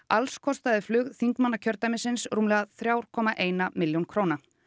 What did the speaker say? alls kostaði flug þingmanna kjördæmisins rúmlega þrjár komma eina milljón króna